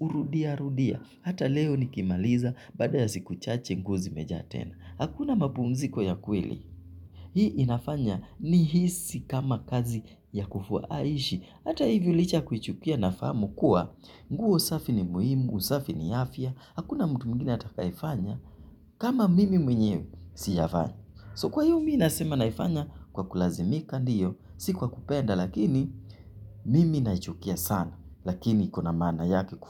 urudia rudia. Hata leo ni kimaliza, baada ya siku chache nguo zi mejaa tena. Hakuna mapumziko ya kweli. Hii inafanya ni hisi kama kazi ya kufua aishi. Hata hivyo licha kuichukia nafahamu kuwa nguo usafi ni muhimu, usafi ni afya. Hakuna mtu mwingine atakaefanya kama mimi mwenye sijafanya. So kwahio mimi nasema naifanya kwa kulazimika ndiyo, si kwa kupenda. Lakini mimi naichukia sana. Lakini kuna maana yake kufu.